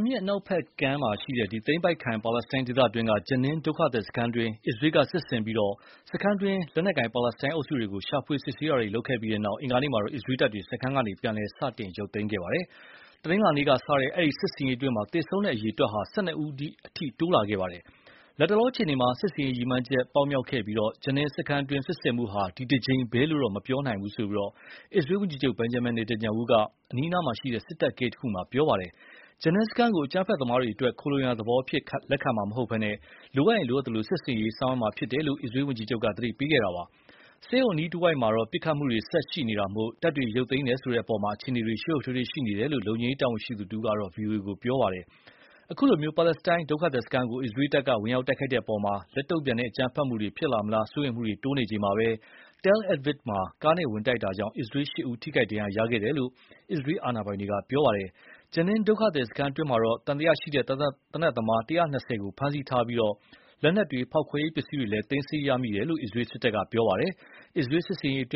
မြစ်အနောက်ဖက်ကမ်း သိမ်းပိုက်ခံပါလက်စတိုင်းဒေသတွင်းက Jenin ဒုက္ခသည်စခန်းအတွင်း အစ္စရေးက စစ်ဆင်ပြီး စခန်းအတွင်း လက်နက်ကိုင်ပါလက်စတိုင်းအုပ်စုတွေကို ရှာဖွေစစ်ဆေးတာတွေ လုပ်ခဲ့ပြီးတဲ့နောက်၊ အင်္ဂါနေ့မှာတော့ အစ္စရေးတပ်တွေ စခန်းကနေ ပြန်လည် စတင်ရုပ်သိမ်းခဲ့ပါတယ်။ တနင်္လာနေ့က စတဲ့ ဒီစစ်ဆင်ရေးအတွင်း သေဆုံးတဲ့အရေအတွက်ဟာလည်း ၁၂ ဦးအထိ တိုးလာခဲ့ပါတယ်။ လတ်တလောအခြေအနေမှာ စစ်ဆင်ရေး ရည်မှန်းချက်ပြီးမြောက်ခဲ့ပြီး၊ Jenin စခန်းအတွင်း စစ်ဆင်မှုဟာ ဒီတကြိမ်ပဲလို့တော့ မပြောနိုင်ဘူးလို့ အစ္စရေးဝန်ကြီးချုပ် Benjamin Netanyahu အနီးအနားက စစ်တပ်ဂိတ်တခုမှာ ပြောသွားပါတယ်။ Jenin စခန်းကို အကြမ်းဖက်သမားတွေအတွက် ခိုလှုံရာသဘောအဖြစ်ခံမှာမဟုတ်ပဲ၊ လိုအပ်ရင် လိုအပ်သလို စစ်ဆင်ရေးဆောင်ရွက်မှာဖြစ်တယ်လို့ အစ္စရေးဝန်ကြီးချုပ်က သတိပေးခဲ့ပါတယ်။ ဆေးရုံအနီးတဝိုက်မှာ ပစ်ခတ်မှုတွေဆက်ရှိနေတာမို့ တပ်တွေ ရုပ်တယ်ဆိုတဲ့အပေါ် အခြေအနေတွေ ရှုပ်ရှုပ်ထွေးထွေးရှိနေတယ်လို့ လုံခြုံရေးတာဝန်ရှိသူတဦးက ဗွီအိုအေကို ပြောပါတယ်။ အခုလို ပါလက်စတိုင်းဒုက္ခသည်စခန်းကို အစ္စရေးတပ်က ဝင်ရောက်တိုက်တဲ့အပေါ် လက်တုန့်ပြန်တဲ့ အကြမ်းဖက်မှုတွေ ဖြစ်လာမလားစိုးရိမ်မှုတွေ တိုးနေချိန်မှာပဲ၊ Tel Aviv မှာ ကားနဲ့ဝင်တိုက်ခိုက်မှုကြောင့် အစ္စရေး ၈ ဦး ထိခိုက်ဒဏ်ရာရခဲ့တယ်လို့ အစ္စရေးအာဏာပိုင်တွေက ပြောပါတယ်။ Jenin ဒုက္ခသည်စခန်းအတွင်းမှာတော့ သံသယရှိတဲ့သေနက်သမား ၁၂၀ ကိုဖမ်းဆီးထားပြီး လက်နက်တွေ ဖောက်ခွဲရေးပစ္စည်းတွေလည်း သိမ်းဆည်းရမိတယ်လို့ အစ္စရေးစစ်တပ်က ပြောပါတယ်။ အစ္စရေးစစ်ဆင်ရေးအတွ